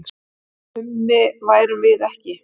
Mummi værum ekki.